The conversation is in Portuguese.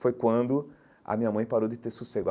Foi quando a minha mãe parou de ter sossego.